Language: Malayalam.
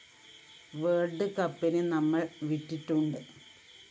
വേള്‍ഡ് കപ്പിന് നമ്മള്‍ വിറ്റിട്ടുണ്ട്